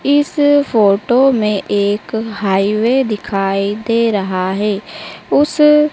इस फोटो में एक हाईवे दिखाई दे रहा है उस--